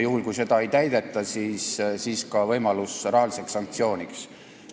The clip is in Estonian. Juhul kui seda ei tehta, siis peaks olema rahalise sanktsiooni võimalus.